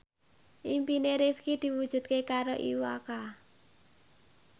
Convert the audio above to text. impine Rifqi diwujudke karo Iwa K